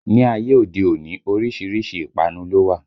Ni ayé òde òní, orísìírísìí ìpanu ló wà